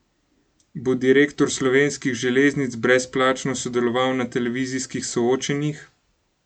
Bo direktor Slovenskih železnic brezplačno sodeloval na televizijskih soočenjih?